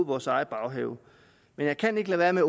vores egen baghave men jeg kan ikke lade være med